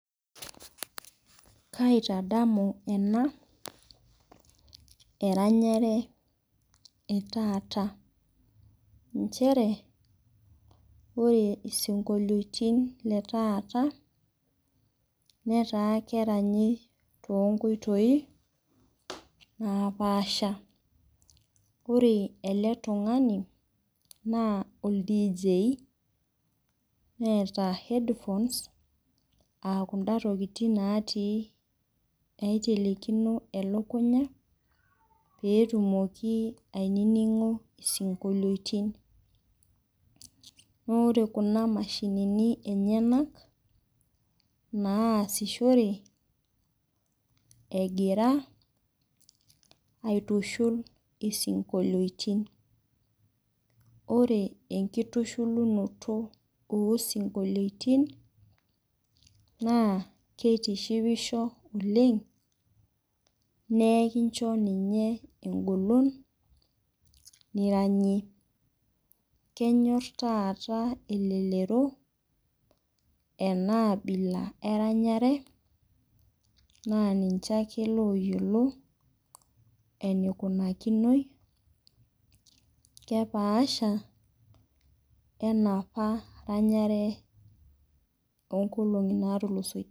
Kaitadamu ena eranyare e taata, inchere ore isinkolioitin le taata netaa keranyi too nkoitoi napaasha. Ore ele tung'ani naa olDJ, neata headphones, aa kunda tokitin naatii naitelekino elukunya, pee etumoki ainining'o isinkolioitin. Naa ore kuna mashinini enyena naasishore, egira aitushul isinkolioitin. Ore enkitushulunoto oo isinkolioitin naa keitishipisho oleng', naa kincho ninye eng'olon niranyie. Kenyor taata elelero enaabila eranyare naa ninche ake looyiolo eneikunakinoi, kepaasha we enopa ranyare enoopa ranyare oo nkolong'i natulusoitie.